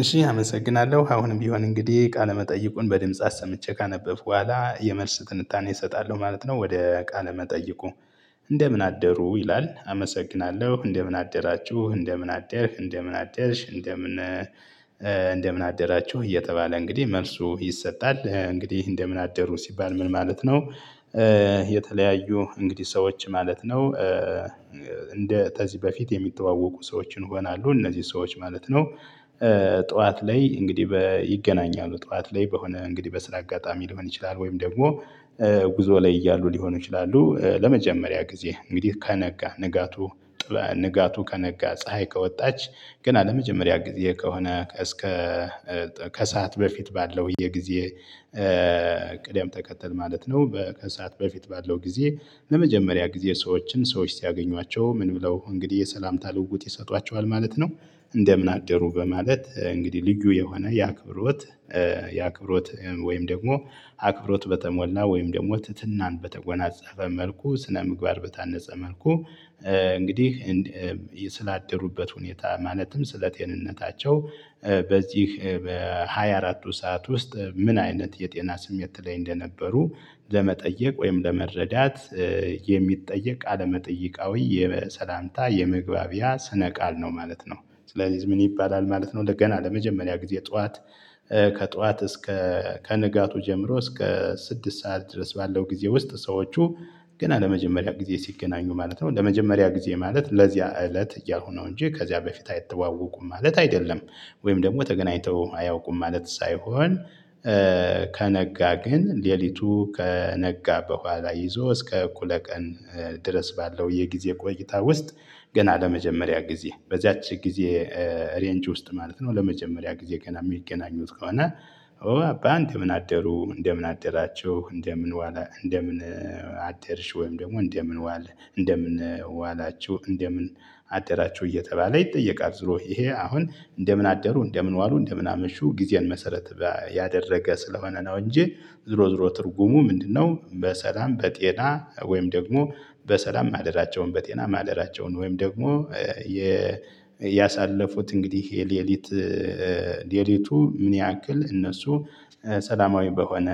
እሺ አመሰግናለሁ አሁንም ቢሆን እንግዲህ ቃለመጠይቁን በድምጽ አሰምቼ ካነበብኩ በኋላ የመልስ ትንታኔ እሰጣለሁ ማለት ነው። ወደ ቃል መጠይቁ እንደምን አደሩ ይላል። አመሰግናለሁ እንደምን አደራችሁ እንደምን አደርሽ እንደምን አደርሽ እንደምን እንደምን አደራችሁ እየተባለ እንግዲህ መልሱ ይሰጣል። እንግዲህ እንደምን አደሩ ሲባል ምን ማለት ነው? የተለያዩ እንግዲህ ሰዎች ማለት ነው። እንደ ከዚ በፊት የሚተዋወቁ ሰዎችን ሆናሉ እነዚህ ሰዎች ማለት ነው። ጠዋት ላይ እንግዲህ ይገናኛሉ ጠዋት ላይ በሆነ እንግዲህ በስራ አጋጣሚ ሊሆን ይችላል ወይም ደግሞ ጉዞ ላይ እያሉ ሊሆኑ ይችላሉ። ለመጀመሪያ ጊዜ እንግዲህ ከነጋ ንጋቱ ንጋቱ ከነጋ ፀሀይ ከወጣች ገና ለመጀመሪያ ጊዜ ከሆነ እስከ ከሰአት በፊት ባለው የጊዜ ቅደም ተከተል ማለት ነው። ከሰአት በፊት ባለው ጊዜ ለመጀመሪያ ጊዜ ሰዎችን ሰዎች ሲያገኟቸው ምን ብለው እንግዲህ የሰላምታ ልውውጥ ይሰጧቸዋል ማለት ነው። እንደምን አደሩ በማለት እንግዲህ ልዩ የሆነ የአክብሮት የአክብሮት ወይም ደግሞ አክብሮት በተሞላ ወይም ደግሞ ትትናን በተጎናጸፈ መልኩ ስነምግባር በታነጸ መልኩ እንግዲህ ስላደሩበት ሁኔታ ማለትም ስለ ጤንነታቸው በዚህ በሃያ አራቱ ሰዓት ውስጥ ምን አይነት የጤና ስሜት ላይ እንደነበሩ ለመጠየቅ ወይም ለመረዳት የሚጠየቅ ቃለ መጠይቃዊ የሰላምታ የመግባቢያ ስነ ቃል ነው ማለት ነው። ስለዚህ ምን ይባላል ማለት ነው? እንደ ገና ለመጀመሪያ ጊዜ ጠዋት ከጠዋት እስከ ከንጋቱ ጀምሮ እስከ ስድስት ሰዓት ድረስ ባለው ጊዜ ውስጥ ሰዎቹ ገና ለመጀመሪያ ጊዜ ሲገናኙ ማለት ነው ለመጀመሪያ ጊዜ ማለት ለዚያ እለት እያልኩ ነው እንጂ ከዚያ በፊት አይተዋወቁም ማለት አይደለም። ወይም ደግሞ ተገናኝተው አያውቁም ማለት ሳይሆን ከነጋ ግን ሌሊቱ ከነጋ በኋላ ይዞ እስከ እኩለ ቀን ድረስ ባለው የጊዜ ቆይታ ውስጥ ገና ለመጀመሪያ ጊዜ በዚያች ጊዜ ሬንጅ ውስጥ ማለት ነው ለመጀመሪያ ጊዜ ገና የሚገናኙ ከሆነ። እንደምን አደሩ እንደምን አደራቸው እንደምን እንደምን አደርሽ ወይም ደግሞ እንደምን ዋህ እንደምን ዋላችሁ እንደምን አደራችሁ እየተባለ ይጠየቃል። ዝሮ ይሄ አሁን እንደምን አደሩ እንደምን ዋሉ እንደምን አመሹ ጊዜን መሰረት ያደረገ ስለሆነ ነው እንጂ ዝሮ ዝሮ ትርጉሙ ምንድነው? በሰላም በጤና ወይም ደግሞ በሰላም ማደራቸውን በጤና ማደራቸውን ወይም ደግሞ ያሳለፉት እንግዲህ የሌሊት ሌሊቱ ምን ያህል እነሱ ሰላማዊ በሆነ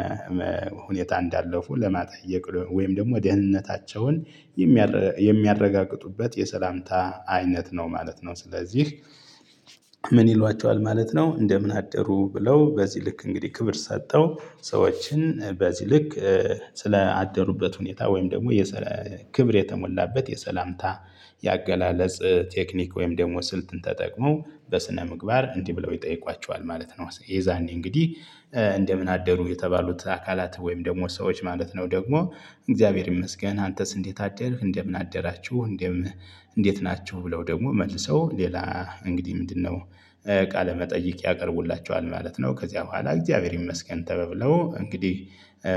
ሁኔታ እንዳለፉ ለመጠየቅ ወይም ደግሞ ደህንነታቸውን የሚያረጋግጡበት የሰላምታ አይነት ነው ማለት ነው። ስለዚህ ምን ይሏቸዋል ማለት ነው? እንደምን አደሩ ብለው በዚህ ልክ እንግዲህ ክብር ሰጠው ሰዎችን በዚህ ልክ ስለ አደሩበት ሁኔታ ወይም ደግሞ ክብር የተሞላበት የሰላምታ የአገላለጽ ቴክኒክ ወይም ደግሞ ስልትን ተጠቅሞ በስነ ምግባር እንዲህ ብለው ይጠይቋቸዋል ማለት ነው። የዛኔ እንግዲህ እንደምን አደሩ የተባሉት አካላት ወይም ደግሞ ሰዎች ማለት ነው። ደግሞ እግዚአብሔር ይመስገን አንተስ እንዴት አደርክ? እንደምን አደራችሁ እንደምን እንዴት ናችሁ? ብለው ደግሞ መልሰው ሌላ እንግዲህ ምንድነው ቃለ መጠይቅ ያቀርቡላቸዋል ማለት ነው። ከዚያ በኋላ እግዚአብሔር ይመስገን ተባብለው እንግዲህ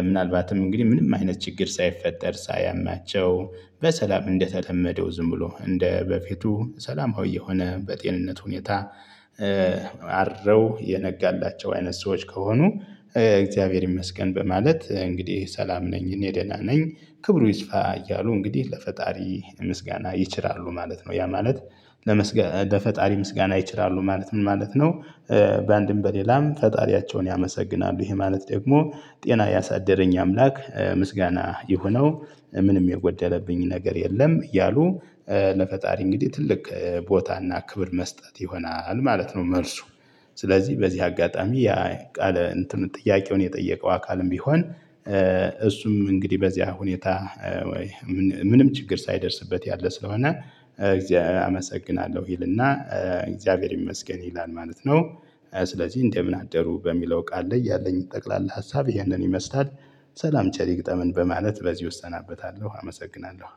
ምናልባትም እንግዲህ ምንም አይነት ችግር ሳይፈጠር ሳያማቸው በሰላም እንደተለመደው ዝም ብሎ እንደ በፊቱ ሰላማዊ የሆነ በጤንነት ሁኔታ አድረው የነጋላቸው አይነት ሰዎች ከሆኑ። እግዚአብሔር ይመስገን በማለት እንግዲህ ሰላም ነኝ እኔ ደህና ነኝ ክብሩ ይስፋ እያሉ እንግዲህ ለፈጣሪ ምስጋና ይችራሉ ማለት ነው። ያ ማለት ለፈጣሪ ምስጋና ይችራሉ ማለት ምን ማለት ነው? በአንድም በሌላም ፈጣሪያቸውን ያመሰግናሉ ይሄ ማለት ደግሞ ጤና ያሳደረኝ አምላክ ምስጋና የሆነው ምንም የጎደለብኝ ነገር የለም እያሉ ለፈጣሪ እንግዲህ ትልቅ ቦታና ክብር መስጠት ይሆናል ማለት ነው። መልሱ ስለዚህ በዚህ አጋጣሚ ያ ቃል ጥያቄውን የጠየቀው አካልም ቢሆን እሱም እንግዲህ በዚያ ሁኔታ ምንም ችግር ሳይደርስበት ያለ ስለሆነ እግዚአብሔር አመሰግናለሁ ይልና እግዚአብሔር ይመስገን ይላል ማለት ነው። ስለዚህ እንደምን አደሩ በሚለው ቃል ላይ ያለኝ ጠቅላላ ሀሳብ ይህንን ይመስላል። ሰላም ቸር ይግጠመን በማለት በዚሁ እሰናበታለሁ አመሰግናለሁ።